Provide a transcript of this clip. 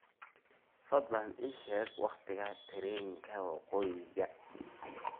fadlan ii sheeg waqtiga tareenka woqooyiga